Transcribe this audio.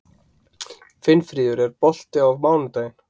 Finnfríður, er bolti á mánudaginn?